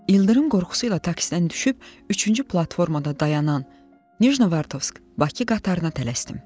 İldırım qorxusu ilə taksidən düşüb, üçüncü platformada dayanan Nijnovartovsk Bakı qatarına tələsdim.